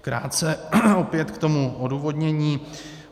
Krátce opět k tomu odůvodnění.